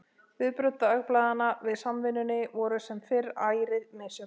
Viðbrögð dagblaðanna við Samvinnunni voru sem fyrr ærið misjöfn.